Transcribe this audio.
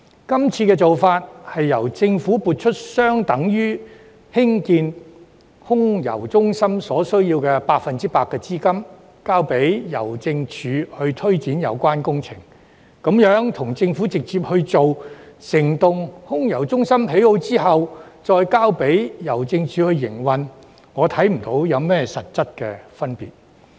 今次的做法，是由政府撥出相等於興建空郵中心所需要的 100% 資金，交由郵政署推展有關工程，這樣跟政府直接興建整幢空郵中心、再交由郵政署營運，我看不到有何實質分別。